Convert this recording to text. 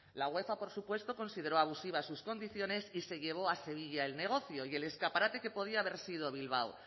la uefa por supuesto consideró abusiva sus condiciones y se llevó a sevilla el negocio y el escaparate que podía haber sido bilbao